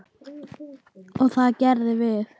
Og það gerðum við.